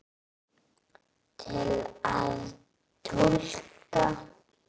Til að túlka